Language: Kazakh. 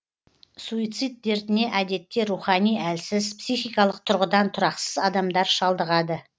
суицид дертіне әдетте рухани әлсіз психикалық тұрғыдан тұрақсыз адамдар шалдығады